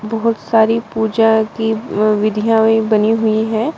बहुत सारी पूजा की अ विधियां भी बनी हुई है।